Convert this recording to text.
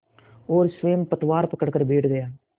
और स्वयं पतवार पकड़कर बैठ गया